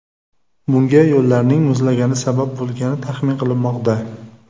Bunga yo‘llarning muzlagani sabab bo‘lgani taxmin qilinmoqda.